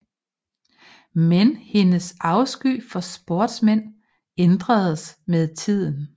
Men hendes afsky for sportsmænd ændres med tiden